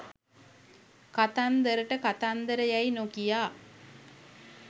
කතන්දරට කතන්දර යැයි නොකියා